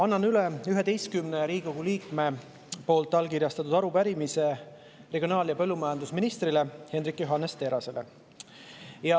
Annan üle 11 Riigikogu liikme allkirjastatud arupärimise regionaal‑ ja põllumajandusminister Hendrik Johannes Terrasele.